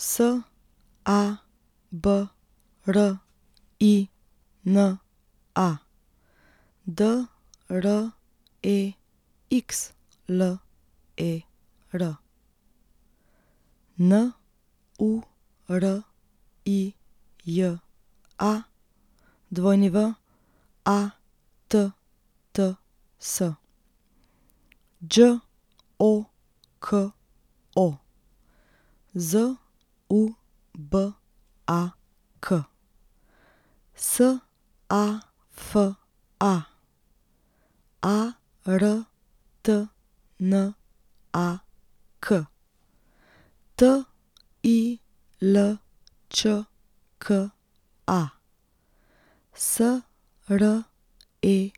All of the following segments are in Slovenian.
Sabrina Drexler, Nurija Watts, Đoko Zubak, Safa Artnak, Tilčka Sredenšek,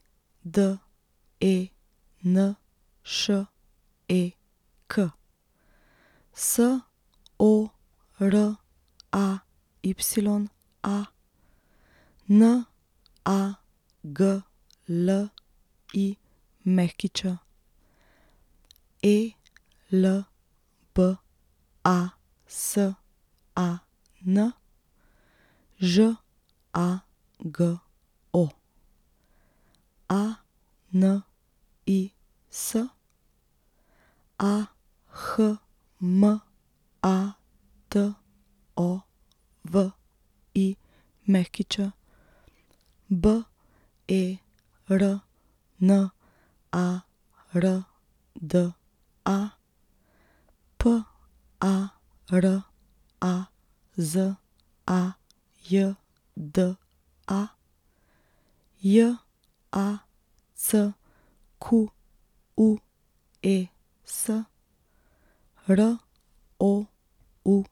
Soraya Naglić, Elbasan Žago, Anis Ahmatović, Bernarda Parazajda, Jacques Roudi.